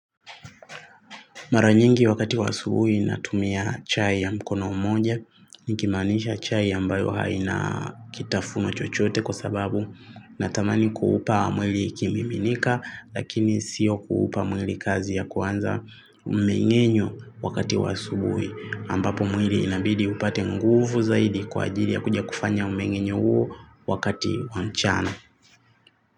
Mara nyingi wakati wa asubui natumia chai ya mkono mmoja, nikimanisha chai ambayo haina kitafuno chochote kwa sababu natamani kuhupa mwili kimiminika lakini sio kuhupa mwili kazi ya kuanza umengenyo wakati waasubui ambapo mwili inabidi upate nguvu zaidi kwa ajili ya kuja kufanya umengenyo huo wakati wa mchana.